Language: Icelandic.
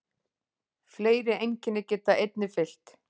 Fleiri einkenni geta einnig fylgt.